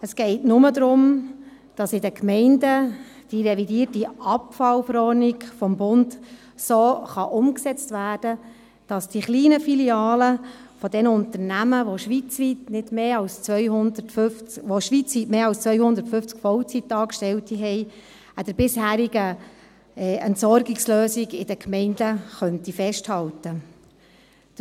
Es geht nur darum, dass in den Gemeinden die revidierte Abfallverordnung des Bundes so umgesetzt werden kann, dass die kleinen Filialen derjenigen Unternehmen, die schweizweit mehr als 250 Vollzeitangestellte haben, an den bisherigen Entsorgungslösungen in den Gemeinden festhalten könnten.